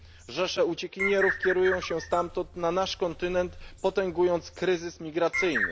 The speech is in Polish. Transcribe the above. Rzesze uciekinierów kierują się stamtąd na nasz kontynent, potęgując kryzys migracyjny.